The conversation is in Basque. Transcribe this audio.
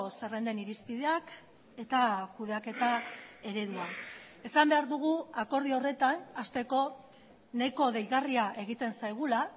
zerrenden irizpideak eta kudeaketa eredua esan behar dugu akordio horretan hasteko nahiko deigarria egiten zaigula